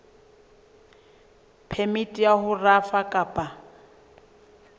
phemiti ya ho rafa kapa